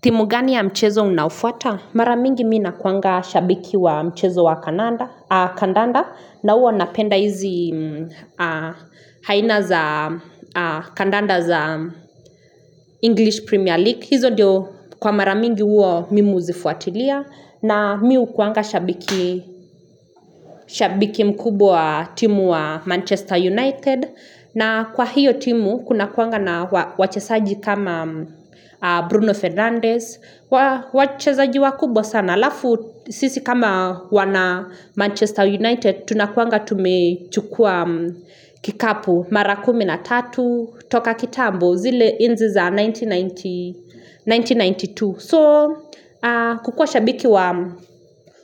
Timu gani ya mchezo unafuata? Mara mingi mi nakuanga shabiki wa mchezo wa kandanda na huwa napenda hizi haina za kandanda za English Premier League. Hizo diyo kwa mara mingi uo mimi huzifuatilia. Na mi hukuanga shabiki mkubwa wa timu wa Manchester United. Na kwa hiyo timu kunakuanga na wachesaji kama Bruno Fernandez. Wachesaji wakubwa sana. Lafu sisi kama wana Manchester United tunakuanga tumechukua kikapu mara kumi na tatu. Toka kitambo zile enzi za 1992 so kukua shabiki wa